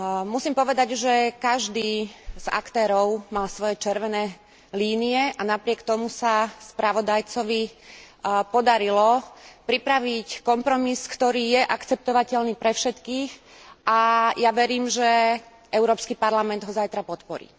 Musím povedať, že každý z aktérov mal svoje červené línie a napriek tomu sa spravodajcovi podarilo pripraviť kompromis, ktorý je akceptovateľný pre všetkých, a ja verím, že Európsky parlament ho zajtra podporí.